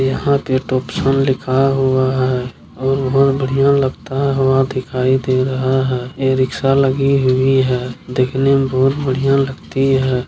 यहाँ पे टॉपसन लिखा हुआ है और बहुत बढ़िया लगता हुआ दिखाई दे रहा है। ये रिक्शा लगी हुई है देखने में बहुत बढ़िया लगती है।